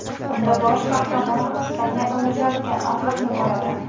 Unda bosh qahramon ufqdan yaqinlashayotgan otliqni ko‘radi.